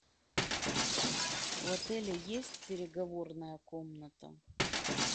в отеле есть переговорная комната